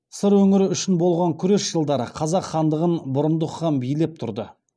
сыр өңірі үшін болған күрес жылдары қазақ хандығын бұрындық хан билеп тұрды